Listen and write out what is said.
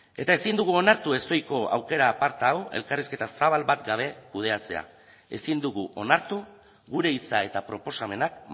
eta ezin dugu onartu ezohiko aukera aparta hau elkarrizketa zabal bat gabe kudeatzea ezin dugu onartu gure hitza eta proposamenak